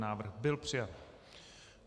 Návrh byl přijat.